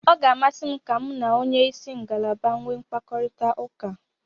Ọ ga-amasị m ka mu na onye isi ngalaba nwee mkparịtaụka taa.